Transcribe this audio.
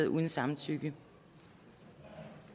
uden samtykke